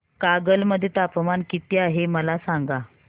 कागल मध्ये तापमान किती आहे मला सांगा